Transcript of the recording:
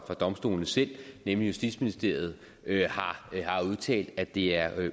domstolene selv nemlig justitsministeriet har udtalt at det er